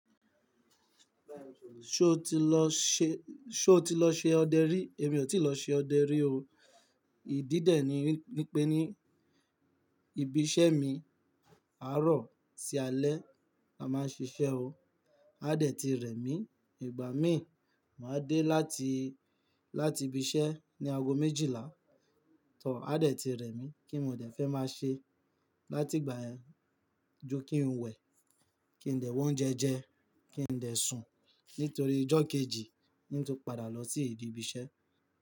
Ṣo ti lọ ṣe, ṣo ti lọ ṣe ọdẹ rí? Èmi ò tí lọ ṣe ọdẹ rí o. Ìdí dẹ̀ ni wípé ní ibi iṣẹ́ mi, àárọ̀ sí alẹ́ la máa ń ṣiṣẹ́ o. Áa dẹ̀ ti rẹ̀ mí. Ìgbà mí, màá dé láti, láti ibi iṣẹ́ ní ago méjìlá. Tọ Áa dẹ̀ ti rẹ̀ mí kí n mò dẹ fẹ́ máa ṣe láti ìgbà yẹn ju kí n wẹ̀, kí n dẹ̀ wa ounje jẹ, kí n dẹ̀ sùn nítorí ijọ́ kejì ni tó padà lọ sí ìdí ibi iṣẹ́